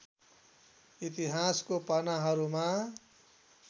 इतिहासको पानाहरूमा